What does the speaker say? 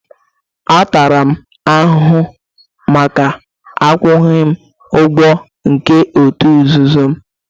A tara m ahụhụ maka akwụghị ụgwọ nke òtù nzuzu m